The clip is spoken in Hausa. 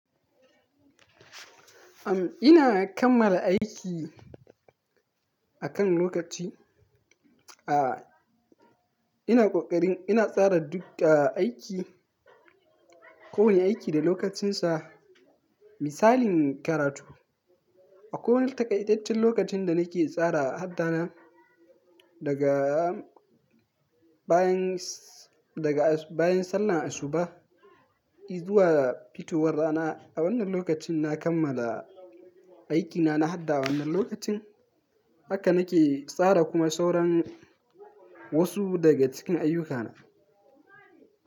Am, ina kammala aiki akan lokaci. Aaa, ina ƙoƙarin ina tsara duka aiki, kowane aiki da lokacinsa. Misalin karatu, a kowane taƙaitaccen lokacin da nake tsara haddana daga bayan s-- daga bayan sallar asuba izuwa fitowar rana, a wannan lokacin na kammala aikina na hadda wannan lokacin. Haka na ke tsara kuma sauran wasu daga cikin ayyukana.